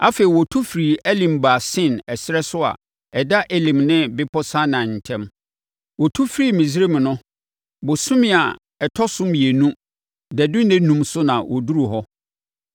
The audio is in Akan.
Afei, wɔtu firii Elim baa Sin ɛserɛ so a ɛda Elim ne Bepɔ Sinai ntam. Wɔtu firii Misraim no, bosome a ɛtɔ so mmienu dadu nnanum so na wɔduruu hɔ.